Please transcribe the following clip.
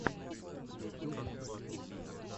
ютюб батл